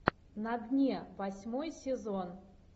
на дне восьмой сезон